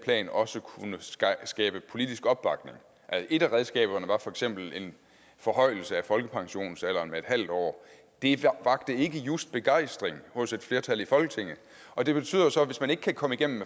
plan også kunne skabe politisk opbakning et af redskaberne var for eksempel en forhøjelse af folkepensionsalderen med en halv år og det vakte ikke just begejstring hos et flertal i folketinget og det betyder jo så at hvis man ikke kan komme igennem